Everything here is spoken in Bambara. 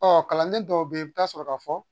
Ɔ kalanden dɔw be yen i bi taa sɔrɔ ka fɔ